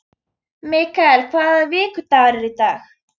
Mikael, hvaða vikudagur er í dag?